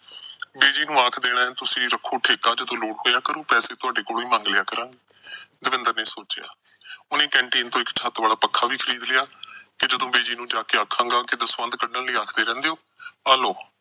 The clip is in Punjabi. ਬਿਜੀ ਨੂੰ ਆਖ ਦੇਣਾ ਕਿ ਤੁਸੀਂ ਰਖੋ ਠੇਕਾ, ਜਦੋਂ ਲੋੜ ਪਊ, ਪੈਸੇ ਤੁਹਾਡੇ ਕੋਲੋਂ ਹੀ ਮੰਗ ਲਿਆ ਕਰਾਂਗੇ, ਦਵਿੰਦਰ ਨੇ ਸੋਚਿਆ। ਉਹਨੇ canteen ਤੋਂ ਇੱਕ ਛੱਤ ਵਾਲਾ ਪੱਖਾ ਵੀ ਖਰੀਦ ਲਿਆ ਤੇ ਬਿਜੀ ਨੂੰ ਜਾ ਕੇ ਆਖਾਂਗਾ ਦਸਵੰਧ ਕੱਢਣ ਲਈ ਆਖਦੇ ਰਹਿੰਦੇ ਓ ਤੇ ਆਹ ਲਓ